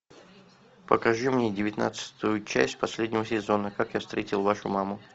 покажи мне девятнадцатую часть последнего сезона как я встретил вашу маму